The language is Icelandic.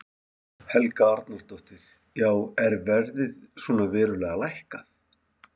Helga Arnardóttir: Já er verðið svona verulega lækkað?